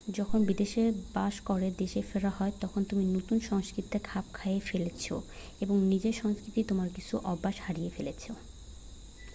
যখন বিদেশে বাস করে দেশে ফেরা হয় তখন তুমি নতুন সংস্কৃতিতে খাপ খাইয়ে ফেলেছ এবং নিজের সংস্কৃতির তোমার কিছু অভ্যাস হারিয়ে ফেলেছ